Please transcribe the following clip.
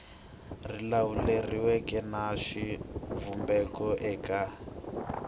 ri lawuleriweke na xivumbeko eka